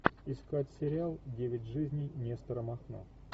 искать сериал девять жизней нестора махно